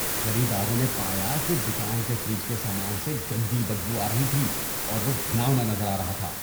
خریداروں نے پایا کہ دکان کے فریج کے سامان سے گندی بدبو آ رہی تھی اور وہ گھناؤنا نظر آ رہا تھا۔